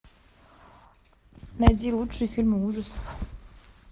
найди лучшие фильмы ужасов